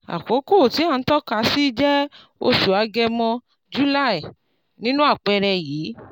àkókò tí à ń tọ́kasí jẹ oṣù agẹmọ july nínu àpẹẹrẹ yìí